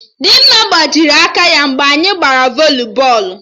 Dịmma gbajiri aka ya mgbe anyị gbara voli bọọlụ